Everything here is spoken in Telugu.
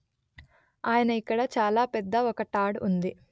ఆయన ఇక్కడ చాలా పెద్ద ఒక టాడ్ ఉంది